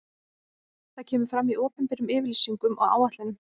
Það kemur fram í opinberum yfirlýsingum og áætlunum.